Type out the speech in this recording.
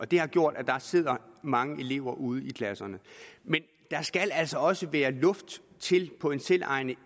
det har gjort at der sidder mange elever ude i klasserne men der skal altså også være luft på en selvejende